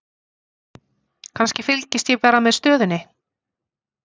Kannski, fylgist ég bara með stöðunni?